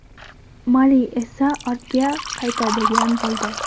Mali esa ortga qaytadigan bo‘ldi.